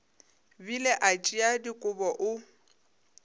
bile a tšea dikobo o